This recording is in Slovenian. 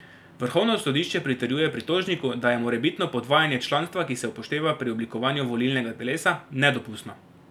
Vrhovno sodišče pritrjuje pritožniku, da je morebitno podvajanje članstva, ki se upošteva pri oblikovanju volilnega telesa, nedopustno.